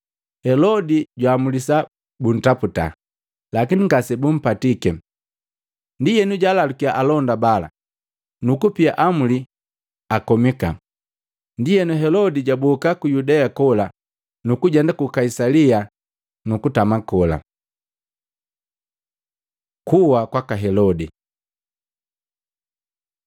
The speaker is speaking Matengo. Helodi jwaamulisa buntaputa, lakini ngase bumpatike. Ndienu jwalalukya alonda bala nuku pia amuli akomika. Ndienu, Helodi jaboka ku Yudea kola, nukujenda ku Kaisalia nukutama kola. Kuha kwaka Helodi